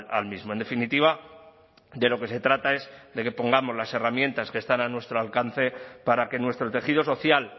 al mismo en definitiva de lo que se trata es de que pongamos las herramientas que están a nuestro alcance para que nuestro tejido social